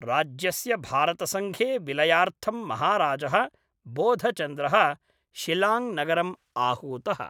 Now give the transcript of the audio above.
राज्यस्य भारतसङ्घे विलयार्थं महाराजः बोधचन्द्रः शिलाङ्गनगरं आहूतः।